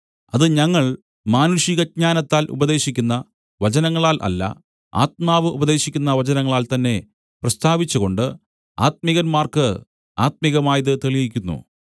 അത് ഞങ്ങൾ മാനുഷികജ്ഞാനത്താൽ ഉപദേശിക്കുന്ന വചനങ്ങളാൽ അല്ല ആത്മാവ് ഉപദേശിക്കുന്ന വചനങ്ങളാൽ തന്നെ പ്രസ്താവിച്ചുകൊണ്ട് ആത്മികന്മാർക്ക് ആത്മികമായത് തെളിയിക്കുന്നു